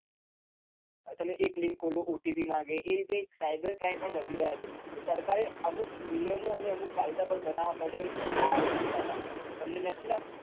તમે એક link ખોલો OTP માંગે એ રીતે cyber crime પણ વધી રહ્યા છે તો સરકારે અમુક નિયમો અને અમુક કાયદા પણ બનાવા પડે આ દિશા માં તમે નથી લાગતું?